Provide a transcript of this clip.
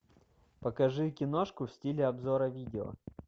покажи киношку в стиле обзора видео